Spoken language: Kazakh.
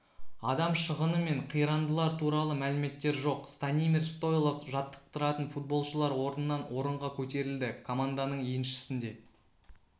адам шығыны мен қирандылар туралы мәліметтер жоқ станимир стойлов жаттықтыратын футболшылар орыннан орынға көтерілді команданың еншісінде